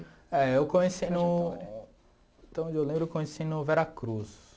É, eu comecei no... Então, onde eu lembro eu comecei no Veracruz.